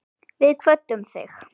Við kvöddum þig.